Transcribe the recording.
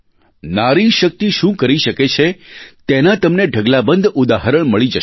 નારી શક્તિ શું કરી શકે છે તેના તમને ઢગલાબંધ ઉદાહરણ મળી જશે